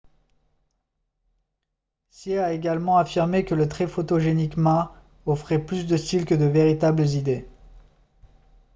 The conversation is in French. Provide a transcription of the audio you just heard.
hsieh a également affirmé que le très photogénique ma offrait plus de style que de véritables idées